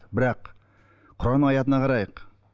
бірақ құран аятына қарайық